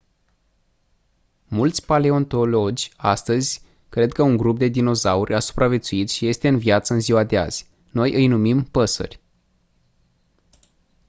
mulți paleontologi astăzi cred că un grup de dinozauri a supraviețuit și este în viață în ziua de azi noi îi numim păsări